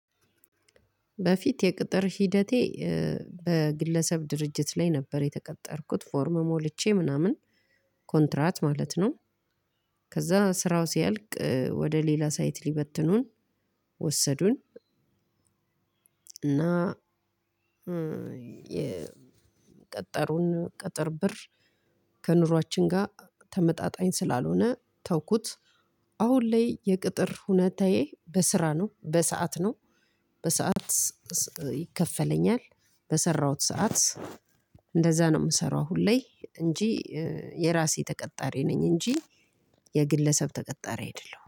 በፊት የቅጥር ሂደቴ በግለሰብ ድርጅት ላይ ነበር የተቀጠርኩት ፎርም ሞልቼ ምናምን ኮንትራት ማለት ነው። ከዛ ስራው ሲያልቅ ወደ ሌላ ሳይት ሊበትኑን ወሰዱን እና የ የቀጠሩን ቅጥር ብር ከኑሯችን ጋር ተመጣጣኝ ስላልሆነ ተውኩት። አሁን ላይ የቅጥር ሁኔታዬ በስራ ነው በሰአት ነው። በሰአት ይከፈለኛል በሰራሁት ሰዓት እንደዛ ነው የምሰራው አሁን ላይ እንጂ የራሴ ተቀጣሪ ነኝ እንጂ የግለሰብ ተቀጣሪ አይደለሁም።